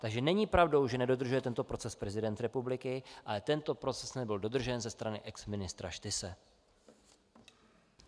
Takže není pravdou, že nedodržuje tento proces prezident republiky, ale tento proces nebyl dodržen ze strany exministra Štyse.